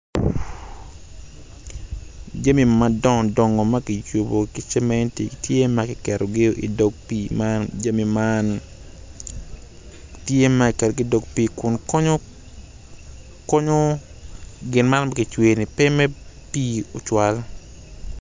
Tye jami madongo dongo ma kiyubogi ki cemeti tye ma kiketogi i dog pii kun konyo konyo gin ma kicweyo pe me pii cwal.